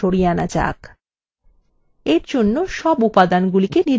এরজন্য সব উপাদান নির্বাচন করুন